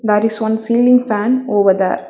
There is one ceiling fan over there.